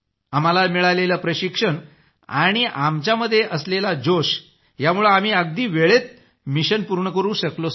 आम्हाला मिळालेलं प्रशिक्षण आणि आमच्यामध्ये असलेला जोश यामुळंच आम्ही अगदी वेळेत मिशन पूर्ण करू शकलो